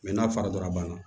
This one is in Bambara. n'a fara la banna